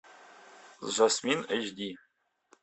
жасмин эйч ди